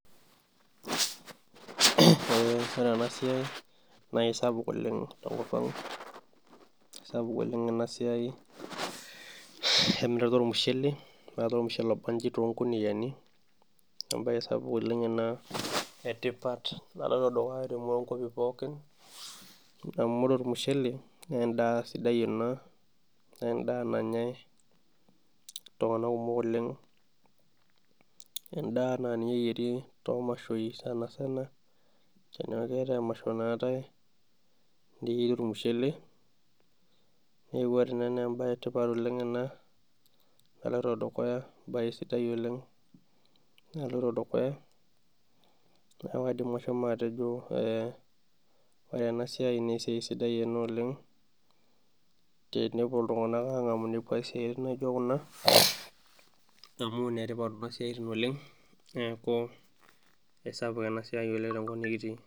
Ore enasia na kesapu oleng' kesapu oleng enasiai eunoto ormushele eetae ormushele obanji tonkuniani embae sapuk oleng ena etipat amu oee ormushele na endaa sidai ena nanyae ltunganak kumok oleng endaa na ninye eyieri tomashoi kumok nayieri ormushele na embae etipat oleng ena naloito dukuya idipa atejo orw enasiai na esiaia sidai oleng tenepuo ltunganak angamu ina neaku enetipat oleng neaku esapuk enasiai oleng tenkop nikirii.